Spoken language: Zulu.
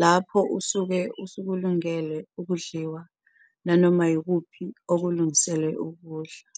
lapho usuke usukulungele ukudliwa nanoma yikuphi okulungisele ukuwudla